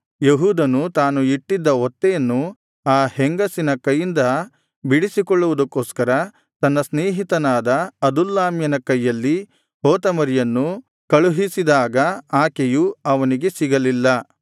ಯೆಹೂದನು ತಾನು ಇಟ್ಟಿದ್ದ ಒತ್ತೆಯನ್ನು ಆ ಹೆಂಗಸಿನ ಕೈಯಿಂದ ಬಿಡಿಸಿಕೊಳ್ಳುವುದಕ್ಕೊಸ್ಕರ ತನ್ನ ಸ್ನೇಹಿತನಾದ ಅದುಲ್ಲಾಮ್ಯನ ಕೈಯಲ್ಲಿ ಹೋತಮರಿಯನ್ನು ಕಳುಹಿಸಿದಾಗ ಆಕೆಯು ಅವನಿಗೆ ಸಿಗಲಿಲ್ಲ